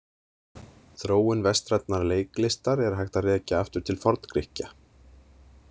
Þróun vestrænnar leiklistar er hægt að rekja aftur til Forngrikkja.